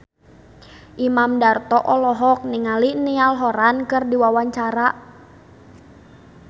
Imam Darto olohok ningali Niall Horran keur diwawancara